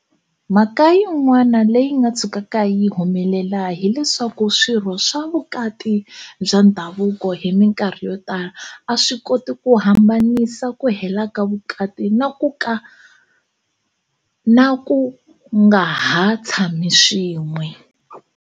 Mhaka yin'wana leyi nga tshukaka yi humelela hi leswaku swirho swa vukati bya ndhavuko hi mikarhi yotala a swi koti ku hambanisa ku hela ka vukati na ku nga ha tshami swin'we.